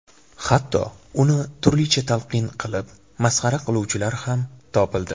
Hatto uni turlicha talqin qilib, masxara qiluvchilar ham topildi.